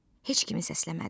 Heç kimi səsləmədi.